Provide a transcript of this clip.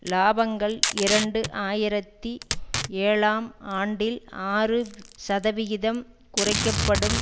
இலாபங்கள் இரண்டு ஆயிரத்தி ஏழாம் ஆண்டில் ஆறு சதவிகிதம் குறைக்க படும்